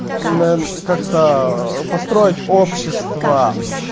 как-то построить общество